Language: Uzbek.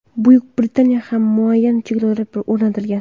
Buyuk Britaniyada ham muayyan cheklovlar o‘rnatilgan.